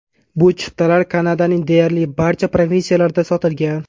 Bu chiptalar Kanadaning deyarli barcha provinsiyalarida sotilgan.